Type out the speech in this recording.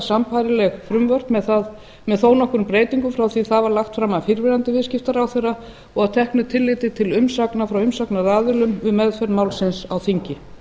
sambærileg frumvörp með þó nokkrum breytingum frá því það var lagt fram af fyrrverandi viðskiptaráðherra og að teknu tilliti til umsagna frá umsagnaraðilum við meðferð málsins á þingi